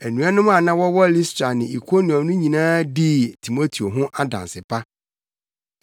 Anuanom a na wɔwɔ Listra ne Ikoniom no nyinaa dii Timoteo ho adanse pa.